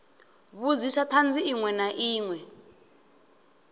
vhudzisa thanzi inwe na inwe